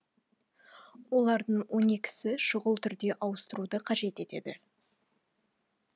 олардың он екісі шұғыл түрде ауыстыруды қажет етеді